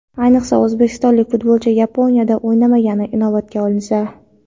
Ayniqsa, o‘zbekistonlik futbolchi Yaponiyada o‘ynamagani inobatga olinsa.